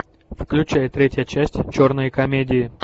включай третья часть черные комедии